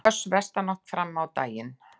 Hvöss vestanátt fram á daginn